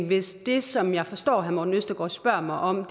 hvis det som jeg forstår herre morten østergaard spørger mig om